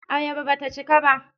Ayaba ba ta cika ba.